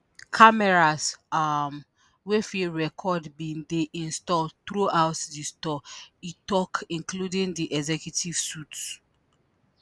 cameras um wey fit record bin dey installed throughout di store e tok including di executive suites.